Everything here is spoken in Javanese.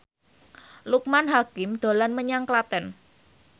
Loekman Hakim dolan menyang Klaten